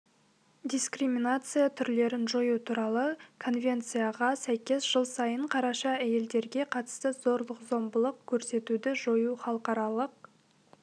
дискриминация түрлерін жою туралы конвенцияға сәйкес жыл сайын қараша әйелдерге қатысты зорлық-зомбылық көрсетуді жою халықаралық